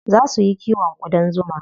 Zaa su yi kiwon ƙudan zuma.